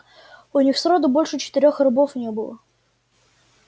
у них сроду больше четырёх рабов не было